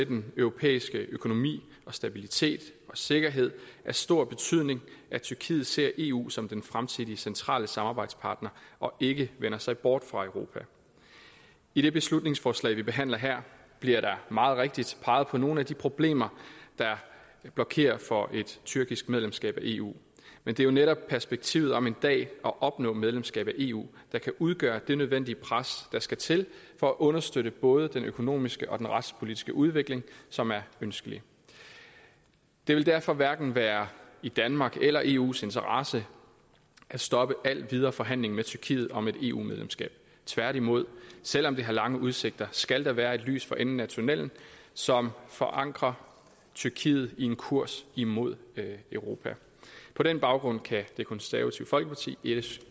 den europæiske økonomi stabilitet og sikkerhed af stor betydning at tyrkiet ser eu som den fremtidige centrale samarbejdspartner og ikke vender sig bort fra europa i det beslutningsforslag vi behandler her bliver der meget rigtigt peget på nogle af de problemer der blokerer for et tyrkisk medlemskab af eu men det er netop perspektivet om en dag at opnå medlemskab af eu der kan udgøre det nødvendige pres der skal til for at understøtte både den økonomiske og den retspolitiske udvikling som er ønskelig det vil derfor hverken være i danmarks eller eus interesse at stoppe al videre forhandling med tyrkiet om et eu medlemskab tværtimod selv om det har lange udsigter skal der være et lys for enden af tunnellen som forankrer tyrkiet i en kurs imod europa på den baggrund kan det konservative folkeparti